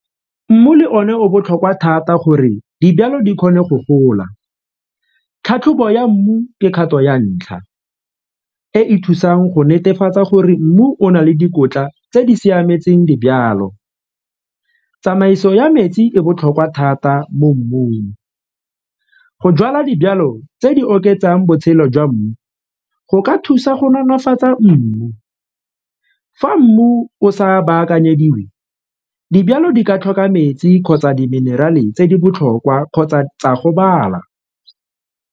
Mmu le one o botlhokwa thata gore dijalo di kgone go gola tlhatlhobo ya mmu mekgatlho ya ntlha e e thusang go netefatsa gore mmu o na le dikotla tse di siametseng dijalo. Tsamaiso ya metsi e botlhokwa thata mo mmung, go jala dijalo tse di oketsang botshelo jwa mmu go ka thusa go nonofatsa mmu, fa mmu o sa baakanyeditswe dijalo di ka tlhoka metsi kgotsa di-mineral-e tse di botlhokwa kgotsa tsa gobala.